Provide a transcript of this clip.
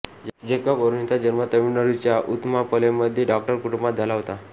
Jacob अरुणींचा जन्म तामिळनाडूच्या उथमापलयममध्ये डॉक्टर कुटुंबात झाला होता